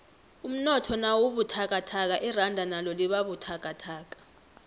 umnotho nawubuthakathaka iranda nalo libabuthakathaka